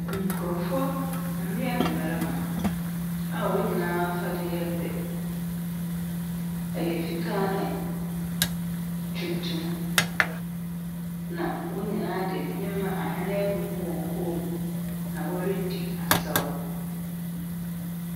Nkrɔfo, mbea ne mmɛrima a wɔn nyinaa afade yɛ pɛ. Ɛyɛ fitaa ne tuntum na won nyinaa de ahwene egugu wɔn kon mu na wore di asaw.